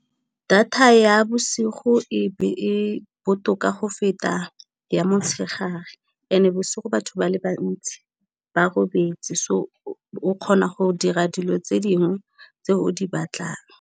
Data ya bosigo e botoka go feta ya mo tshegare ene bosigo batho ba le bantsi ba robetse, so o kgona go dira dilo tse dingwe tse o di batlang.